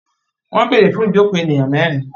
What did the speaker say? Wọ́n bèèrè fún ìjokòó ènìyàn mẹ́rin.